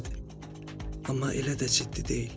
Amma elə də ciddi deyil.